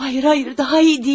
Xeyr, xeyr, daha yaxşı deyil.